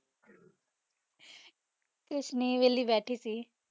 ਕੁਛ ਨਾਈ ਵੇਲੀ ਬੇਠੀ ਸੀ